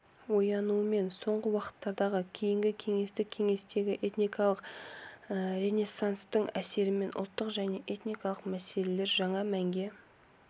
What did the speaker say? оянуымен соңғы уақыттардағы кейінгі кеңестік кеңістіктегі этникалық ренессанстың әсерімен ұлттық және этникалық мәселелер жаңа мәнге